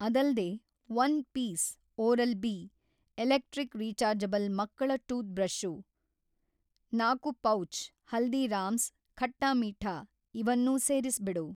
ಅದಲ್ದೇ, ಒಂದು piece Oral B electric rechargeable ಮಕ್ಕಳ toothbrush , ನಾಲ್ಕು ಪೌಚ್ ಹಲ್ದೀರಾಮ್ಸ್ ಖಟ್ಟಾ ಮೀಠಾ ಇವನ್ನೂ ಸೇರಿಸ್ಬಿಡು.